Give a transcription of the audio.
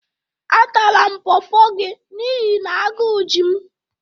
Atara m Pọọpọ gị n'ihi na agú ji m.